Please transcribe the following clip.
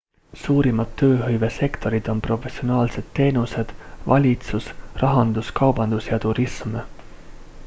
suurimad tööhõivesektorid on professionaalsed teenused valitsus rahandus kaubandus ja turism